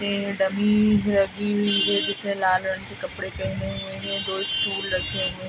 ये डमी लगी हुई है जिसने लाल रंग के कपडे पहने हुए है। दो स्टूल रखे हुए --